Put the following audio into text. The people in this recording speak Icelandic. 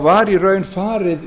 var í raun farið